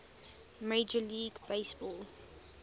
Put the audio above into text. major league baseball